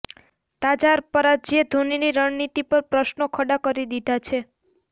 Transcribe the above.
તાજા પરાજયે ધોનીની રણનીતિ પર પ્રશ્નો ખડા કરી દીધા છે